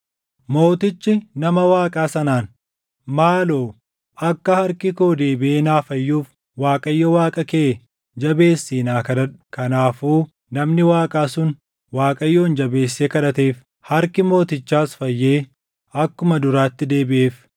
Mootichi nama Waaqaa sanaan, “Maaloo akka harki koo deebiʼee naa fayyuuf Waaqayyo Waaqa kee jabeessii naa kadhadhu.” Kanaafuu namni Waaqaa sun Waaqayyoon jabeessee kadhateef; harki mootichaas fayyee akkuma duraatti deebiʼeef.